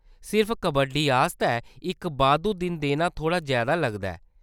सिर्फ कबड्डी आस्तै इक बाद्धू दिन देना थोह्‌ड़ा जैदा लगदा ऐ।